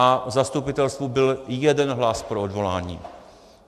A v zastupitelstvu byl jeden hlas pro odvolání.